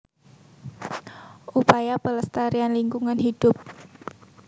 Upaya Pelestarian Lingkungan Hidupa